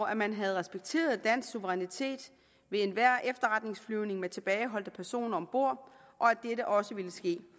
at man havde respekteret dansk suverænitet ved enhver efterretningsflyvning med tilbageholdte personer om bord og at dette også ville ske